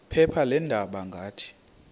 phepha leendaba ngathi